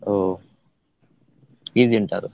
ಓ easy ಉಂಟ ಅದು?